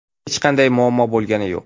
Hech qanday muammo bo‘lgani yo‘q.